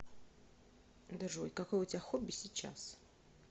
джой какое у тебя хобби сейчас